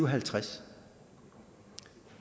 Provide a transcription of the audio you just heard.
og halvtreds